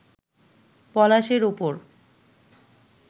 পলাশের ওপর